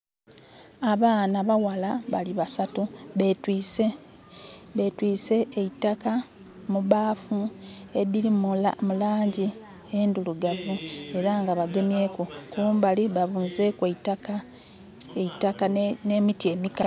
Abaana abaghala basatu betwise eitaka mu baafu edhiri mulangi endhirugavu era nga bagemyeku. Kumbali ba bunzeku eitaka ne miti emikalu.